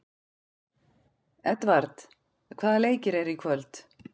Edvard, hvaða leikir eru í kvöld?